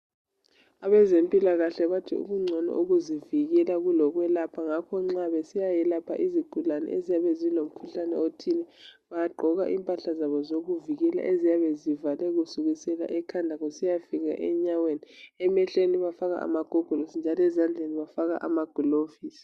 Abezempilakahle bathi kungcono ukuzivikela kulo kwelapha ngakho nxa besiyayelapha izigulane eziyabe zilomkhuhlane othile bagqoka impahla zabo zokuvikela eziyabe zivale kusukisela ekhanda kusiya fika enyaweni emehlweni bafaka amagogolosi njalo ezandleni bafaka amagilovisi.